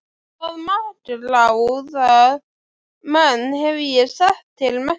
Þann makráða mann hef ég sett til mennta!